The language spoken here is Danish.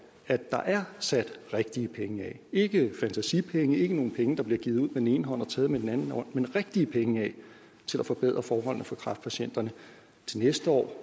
at der er sat rigtige penge af ikke fantasipenge ikke nogle penge der bliver givet ud den ene hånd og taget med den anden hånd men rigtige penge til at forbedre forholdene for kræftpatienterne til næste år